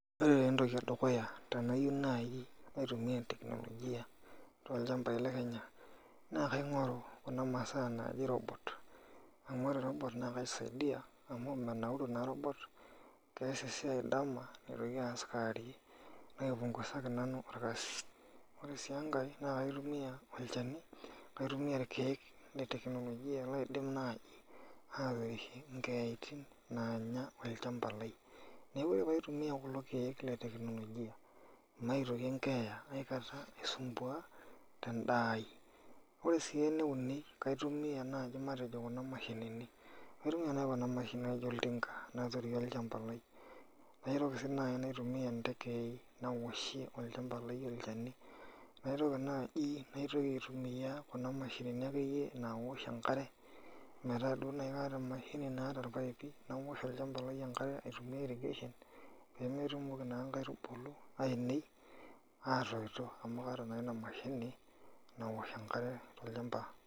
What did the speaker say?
Ore taa entoki edukuya tenayieu naaji naitumia tekinolojia tolchambai lee Kenya naa kaingoru Kuna masaa naaji robot amu menauru naa kias esiai dama okewari naipunguzaki nanu orkasi ore sii enkae naa kitumia olchani lee tekinolojia laidim naaji atorishie enkayaitin nanya olchamba lai neeku ore pee aitumia kulo keek lee tekinolojia mitoki enkeya aikata aisumbua tedaa ai ore sii ene uni laitumia naaji matejo Kuna mashinini naijio oltinga naturie olchamba lai naitoki najii naitumia ntekei naoshie olchani naitoki naaji aitumia Kuna mashinini nawosh enkare metaa duo naaji kataa emashini naa irpaipi naoshi olchamba lai enkare aitumia irrigation pee metomoki naa nkaitubulu ainei atoito amu kaata naa ena mashini nawosh enkare tolchamba